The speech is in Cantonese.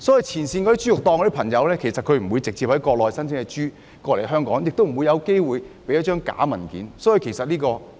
前線豬肉檔不會直接從國內申請豬隻來港，也不會有機會行使虛假文件。